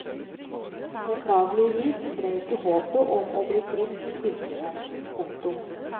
Beklageligvis ble ikke håpet om å bli frisk virkelighet. punktum